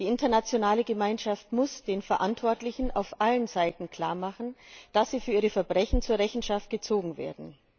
Die internationale Gemeinschaft muss den Verantwortlichen auf allen Seiten klarmachen, dass sie für ihre Verbrechen zur Rechenschaft gezogen werden.